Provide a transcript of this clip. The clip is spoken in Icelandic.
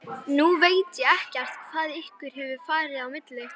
Nú veit ég ekkert hvað ykkur hefur farið á milli?